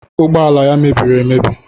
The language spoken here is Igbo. Ụgbọala ya mebiri emebi.